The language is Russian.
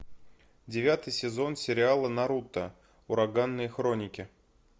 девятый сезон сериала наруто ураганные хроники